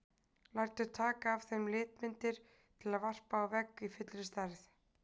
Lætur taka af þeim litmyndir til að varpa á vegg í fullri stærð.